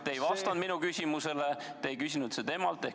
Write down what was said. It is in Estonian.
Te ei vastanud minu küsimusele, te ei küsinud temalt.